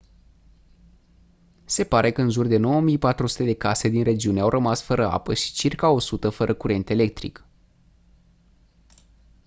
se pare că în jur de 9400 de case din regiune au rămas fără apă și circa 100 fără curent electric